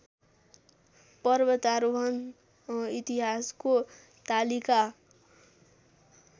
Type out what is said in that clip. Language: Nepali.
पर्वतारोहण इतिहासको तालिका